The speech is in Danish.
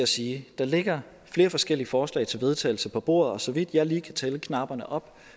sige at der ligger flere forskellige forslag til vedtagelse på bordet og så vidt jeg lige kan tælle knapperne op